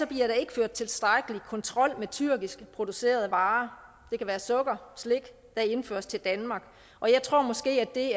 bliver der ikke ført tilstrækkelig kontrol med tyrkisk producerede varer det kan være sukker og slik der indføres til danmark og jeg tror måske det